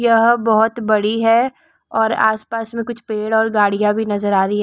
यह बोहोत बड़ी है और आसपासमे कुछ पेड़ और गड़िया भी नजर आरही।